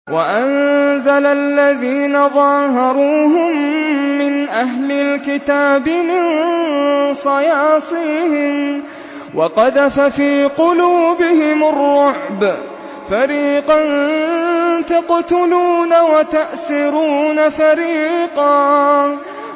وَأَنزَلَ الَّذِينَ ظَاهَرُوهُم مِّنْ أَهْلِ الْكِتَابِ مِن صَيَاصِيهِمْ وَقَذَفَ فِي قُلُوبِهِمُ الرُّعْبَ فَرِيقًا تَقْتُلُونَ وَتَأْسِرُونَ فَرِيقًا